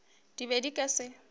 di be di ka se